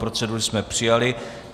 Proceduru jsme přijali.